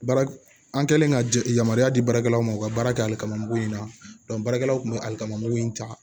Baara an kɛlen ka jɛ yamaruya di baarakɛlaw ma u ka baara kɛ ali kamanan mugu in na baarakɛlaw tun bɛ ali kamugu in ta